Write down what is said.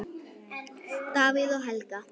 Davíð og Helga.